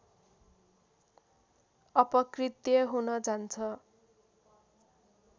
अपकृत्य हुन जान्छ